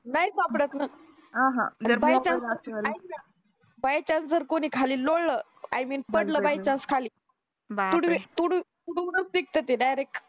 नाही सापडत ना ऐक ना by chance जर कोणी खाली लोळलं i mean पडलं by chance खाली तुडवी तुडू तुडवूनच निघतं ते direct